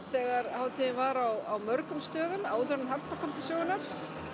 þegar hátíðin var á mörgum stöðum áður en Harpa kom til sögunnar